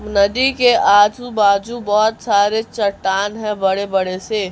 नदी के आजू बाजू बहोत सारे चट्टान है बड़े बड़े से।